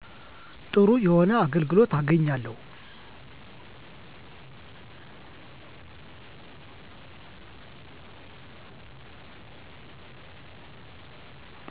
ጥሩ የሆነ አገልግሎት አገኛለው